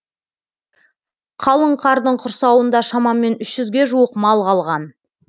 қалың қардың құрсауында шамамен үш жүзге жуық мал қалған